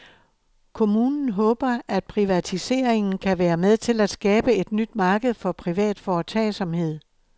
Kommunen håber, at privatiseringen kan være med til at skabe et nyt marked for privat foretagsomhed.